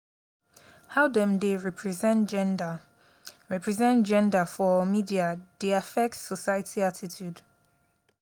how dem dey represent gender represent gender for media dey affect society attitude.